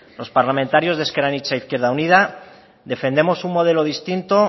los parlamentarios de ezker anitza izquierda unida defendemos un modelo distinto